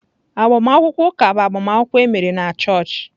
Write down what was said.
Agbamakwụkwọ ụka bụ agbamakwụkwọ emere na chọọchị.